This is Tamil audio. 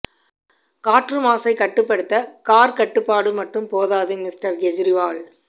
காற்று மாசை கட்டுப்படுத்த கார் கட்டுப்பாடு மட்டும் போதாது மிஸ்டர் கெஜ்ரிவால்